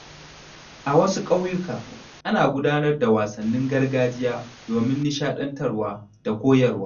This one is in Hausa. A wasu ƙauyuka, ana gudanar da wasannin gargajiya domin nishaɗantarwa da koyarwa.